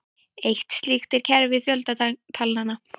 Eitt slíkt er kerfi fjöldatalnanna.